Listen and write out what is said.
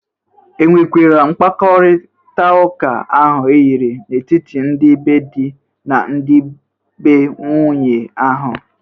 E nwekwara mkpakọritaụka ahụ eyiri n'etiti ndị be dị na ndị be nwunye ahụ?